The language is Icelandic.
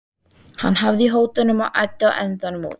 Hann hafði í hótunum og æddi á endanum út.